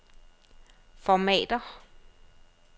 Formatér.